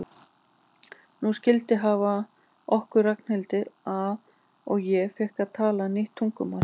Nú skildi hafið okkur Ragnhildi að og ég fékk að tala nýtt tungumál.